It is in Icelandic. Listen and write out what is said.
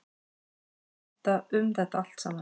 Skipta um þetta allt saman.